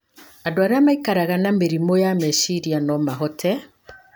Andũ arĩa maikaraga na mĩrimũ ya meciria no mahote